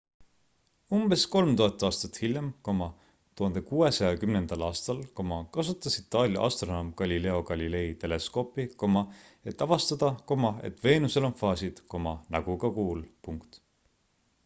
umbes 3000 aastat hiljem 1610 aastal kasutas itaalia astronoom galileo galilei teleskoopi et avastada et veenusel on faasid nagu ka kuul